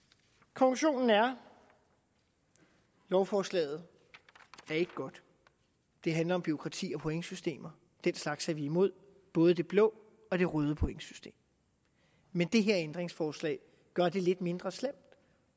konklusionen er lovforslaget er ikke godt det handler om bureaukrati og pointsystemer den slags er vi imod både det blå og det røde pointsystem men det her ændringsforslag gør det lidt mindre slemt